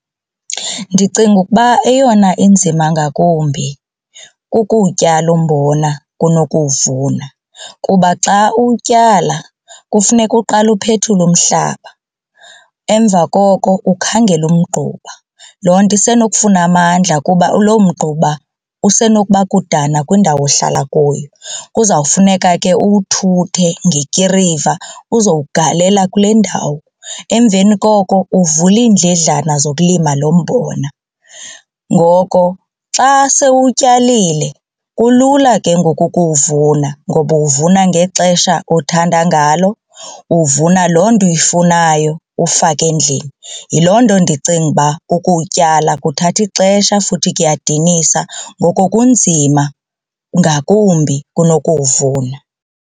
Ndicinga ukuba eyona inzima ngakumbi kukuwutyala umbona kunokuwuvuna kuba xa uwutyala kufuneka uqale uphethule umhlaba emva koko ukhangele umgquba. Loo nto isenokufuna amandla kuba lo mgquba usenokuba kudana kwindawo ohlala kuyo. Kuzawufuneka ke uwuthuthe ngekiriva uzowugalela kule ndawo emveni koko uvule iindledlana zokulima lo mbona. Ngoko xa sewutyalile kulula ke ngoku ukuwuvuna ngoba uwuvuna ngexesha othanda ngalo uvuna loo nto uyifunayo ufake endlini. Yiloo nto ndicinga uba ukuwutyala kuthatha ixesha futhi kuyadinisa ngoko kunzima ngakumbi kunokuwuvuna.